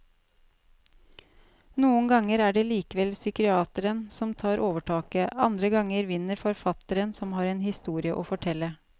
Noen ganger er det likevel psykiateren som får overtaket, andre ganger vinner forfatteren som har en historie å fortelle.